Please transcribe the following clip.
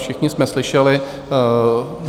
Všichni jsme slyšeli.